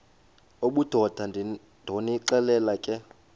obudoda ndonixelela ke